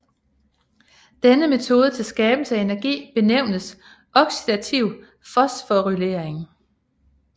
Denne metode til skabelse af energi benævnes oxidativ fosforylering